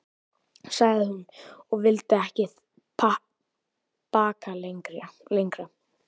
sagði hún, og vildi ekki bakka lengra.